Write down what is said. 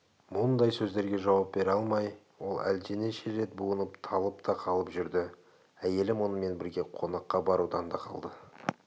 мұндай сөздерге жауап бере алмай ол әлденеше рет буынып талып та қалып жүрді әйелі мұнымен бірге қонаққа барудан да қалды